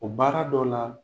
O baara dɔ la.